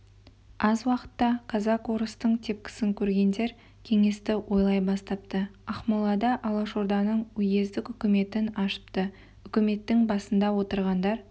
аз уақытта казак-орыстың тепкісін көргендер кеңесті ойлай бастапты ақмолада алашорданың уездік үкіметін ашыпты үкіметтің басында отырғандар